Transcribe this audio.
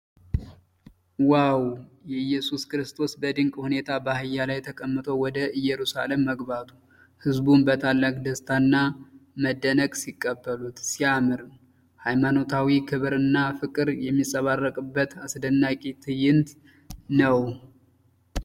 ዋው! የኢየሱስ ክርስቶስ በድንቅ ሁኔታ በአህያ ላይ ተቀምጦ ወደ ኢየሩሳሌም መግባቱ። ሕዝቡም በታላቅ ደስታና መደነቅ ሲቀበሉት ሲያምር! የሃይማኖታዊ ክብርና ፍቅር የሚንጸባረቅበት አስደናቂ ትዕይንት ነው።